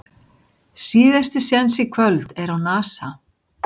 Síðasti séns í kvöld á Nasa